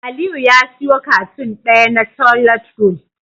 Aliyu ya siyo cartoon daya na toilet roll